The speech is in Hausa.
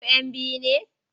Ku 'yan biyu ne?